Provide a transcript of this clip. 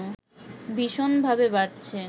ভীষণভাবে বাড়ছে